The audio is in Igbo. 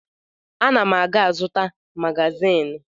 Ana m a ga-ịzụta magazịn.